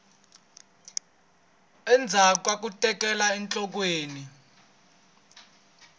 endzhaku ka ku tekela enhlokweni